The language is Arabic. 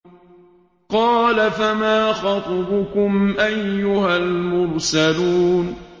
قَالَ فَمَا خَطْبُكُمْ أَيُّهَا الْمُرْسَلُونَ